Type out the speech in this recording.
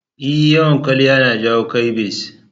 E, yawan kwaliya na jawo ƙyabsi.